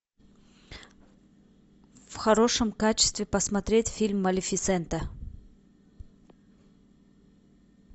в хорошем качестве посмотреть фильм малефисента